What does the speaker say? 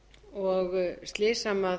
og slys sem